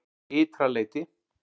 Ytra leyti